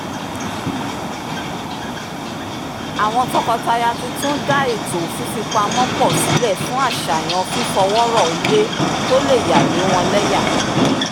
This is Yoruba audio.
àwọn tọkọtaya tuntun dá ètò fífipamọ́ pọ̀ sílẹ̀ fún àṣàyàn fífọwọ́rọ̀ ilé tó lè yà lé wọn lẹ́yà